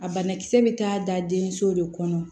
A banakisɛ bɛ taa da den so de kɔnɔ